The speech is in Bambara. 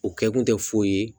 U kɛ kun tɛ foyi ye